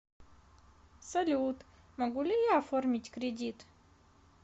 салют могу ли я оформить кредит